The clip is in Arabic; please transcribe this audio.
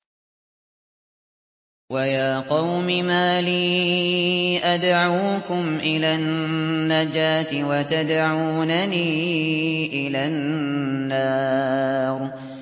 ۞ وَيَا قَوْمِ مَا لِي أَدْعُوكُمْ إِلَى النَّجَاةِ وَتَدْعُونَنِي إِلَى النَّارِ